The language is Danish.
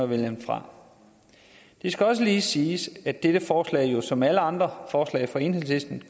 vælger den fra det skal også lige siges at dette forslag jo som alle andre forslag fra enhedslisten